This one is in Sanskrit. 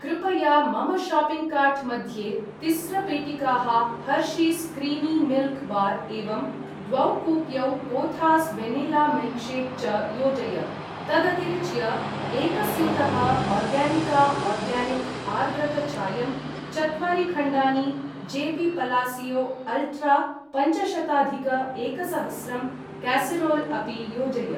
कृपया मम शाप्पिङ्ग् कार्ट् मध्ये तिस्र पेटिकाः हर्शीस् क्रीमि मिल्क् बार् एवं द्वौ कुप्यौ कोथास् वेनिल्ला मिल्क्शेक् च योजय। तदतिरिच्य एक स्यूतः ओर्गानिका आर्गानिक् आर्द्रक चायं , चत्वारि खण्डानि जेपी पलासियो अल्ट्रा पञ्चशताधिक एकसहस्रं कासेरोल् अपि योजय।